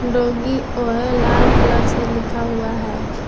Doggy ओए लाल colour से लिखा हुआ है।